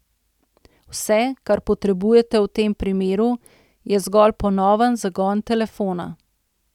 Vse, kar potrebujete v tem primeru, je zgolj ponoven zagon telefona.